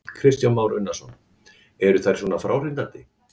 Kristján Már Unnarsson: Eru þær svona fráhrindandi?